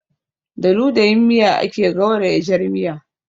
Da ludayin miya ake gauraya jar miya